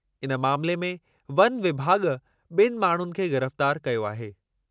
इन मामिले में वन विभाॻ ॿिनि माण्हुनि खे ग़िरफ्तार कयो आहे।